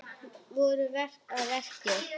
Hverjir voru að verki?